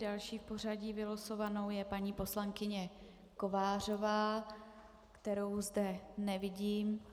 Další v pořadí vylosovanou je paní poslankyně Kovářová, kterou zde nevidím.